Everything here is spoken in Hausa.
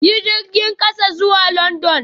Yi jirgin kasa zuwa London